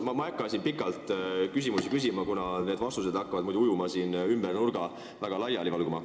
Ma ei hakka siin pikalt küsimusi esitama, kuna vastused hakkaksid siis nurga taha ujuma ja väga laiali valguma.